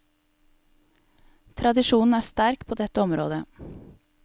Tradisjonen er sterk på dette området.